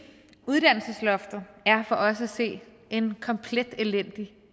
uddannelsesloftet for os at se er en komplet elendig